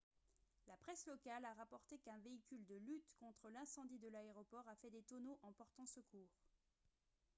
la presse locale a rapporté qu'un véhicule de lutte contre l'incendie de l'aéroport a fait des tonneaux en portant secours